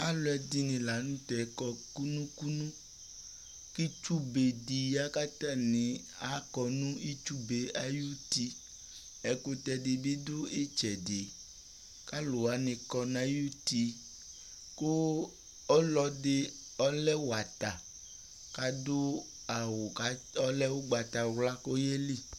Alʋɛdɩnɩ la nʋ tɛ kɔ kunu kunu: k'itsu bedɩ ya k'atanɩ akɔ nʋ itsu bee ay'uti Ɛkʋtɛdɩ bɩ dʋ ɩtsɛdɩ , k'alʋ wanɩ kɔ n'ay'uti ;kʋ ɔlɔdɩ ɔlɛ wata k'adʋ awʋ ka ɔlɛ ʋgbatawla k'oye li